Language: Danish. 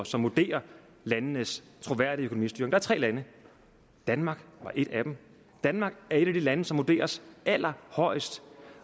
som vurderer landenes troværdige økonomistyring der er tre lande danmark er et af dem danmark er et af de lande som vurderes allerhøjest